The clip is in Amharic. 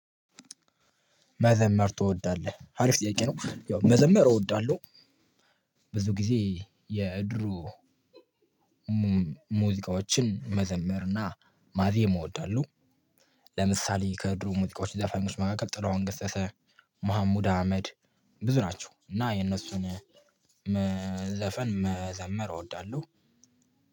መዘመር ትወዳለህ ሀሪፍ ጥያቄ ነው ያው መዘመር እወዳለሁ። ብዙ ጊዜ የድሮ ሙዚቃዎችን መዘምርና ማዜም እወዳለሁ። ለምሳሌ ከድሮ ሙዚቃዎች የዘፈኞች መካከል ጥላሁን ገሰሰ መሀሙድ አህመድ ብዙ ናቸው። እና የነሱን ዘፈን መዘመር እወዳለሁ።